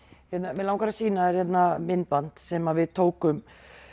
mig langar að sýna þér myndband sem sem við tókum